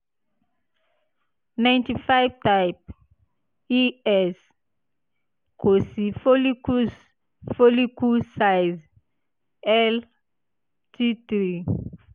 Ninety five type - ES ko si follicles follicle size one T three